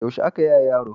yaushe ake yaye yaro